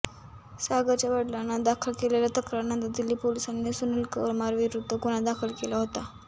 सागरच्या वडिलांना दाखल केलेल्या तक्रारीनंतर दिल्ली पोलिसांनी सुनील कुमारविरुद्ध गुन्हा दाखल केला होता